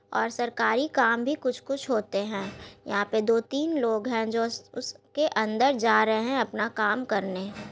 और सरकारी काम भी कुछ कुछ होते हैं यहां पे दो तीन लोग हैं जो उस उसके अंदर जा रहे अपना काम करने।